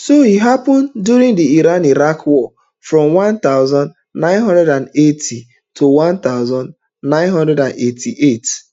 so e happun during di iran-iraq war from one thousand, nine hundred and eighty to one thousand, nine hundred and eighty-eight